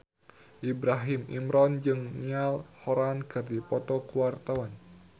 Ibrahim Imran jeung Niall Horran keur dipoto ku wartawan